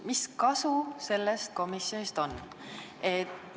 Mis kasu sellest komisjonist on?